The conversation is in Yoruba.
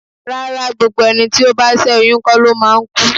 Rárá, gbogbo ẹni tí ó bá ṣé oyún kó lo máa ń kú.